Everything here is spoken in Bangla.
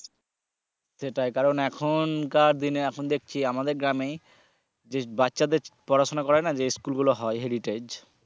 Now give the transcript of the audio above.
সেটাই কারণ এখনকার দিনে এখন দেখছি আমাদের গ্রামে যে বাচ্চাদের পড়াশুনা করায় না যে স্কুলগুলো হয় heritage